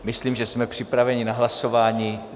Myslím, že jsme připraveni na hlasování.